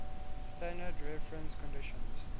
standard reference conditions